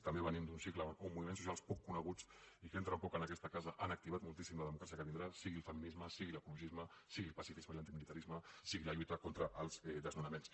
també venim d’un cicle on moviments socials poc coneguts i que entren poc en aquesta casa han activitat moltíssim la democràcia que vindrà sigui el feminisme sigui l’ecologisme sigui el pacifisme i l’antimilitarisme sigui la lluita contra els desnonaments